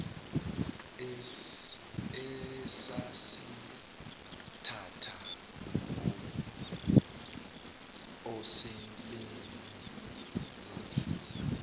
esasintanta osebeni lomfula